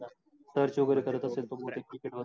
search वगेरे करत असत्यात बगुया.